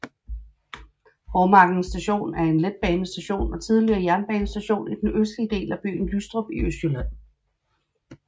Hovmarken Station er en letbanestation og tidligere jernbanestation i den østlige del af byen Lystrup i Østjylland